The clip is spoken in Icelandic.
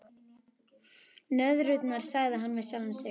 Nöðrurnar, sagði hann við sjálfan sig.